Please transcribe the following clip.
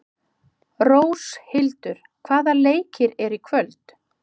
Róshildur, hvaða leikir eru í kvöld?